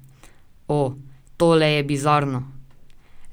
O, tole je bizarno.